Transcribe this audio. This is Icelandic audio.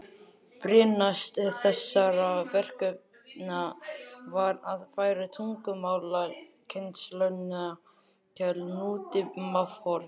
Brýnast þessara verkefna var að færa tungumálakennsluna til nútímahorfs.